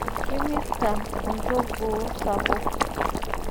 Kimirta olchogoo sapuk.